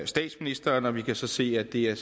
statsministeren vi kan så se at det er